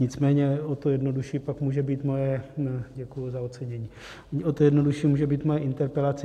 Nicméně o to jednodušší pak může být moje - děkuji za ocenění - o to jednodušší může být moje interpelace.